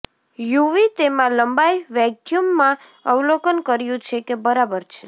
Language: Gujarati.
યુવી તેમાં લંબાઈ વેક્યૂમ માં અવલોકન કર્યું છે કે બરાબર છે